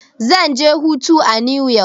Zan je hutu a new yok.